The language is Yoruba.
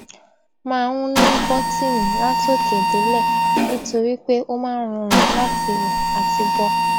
máa n ní bọtíìnì látòkè délẹ nítorí pé ó máa ń rọrùn láti wọ àti bọ